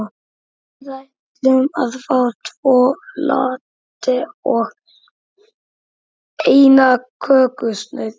Við ætlum að fá tvo latte og eina kökusneið.